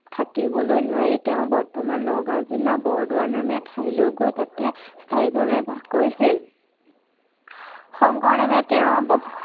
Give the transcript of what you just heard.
থাকিবলৈ নোৱাৰি তেওঁ বৰ্তমান নগাঁও জিলাৰ বৰদোৱা নামে ঠাইলৈ গৈ তাতে স্থায়ীভাৱে বাস কৰিছিল। শংকৰদেৱে তেওঁৰ